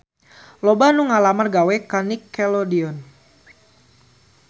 Loba anu ngalamar gawe ka Nickelodeon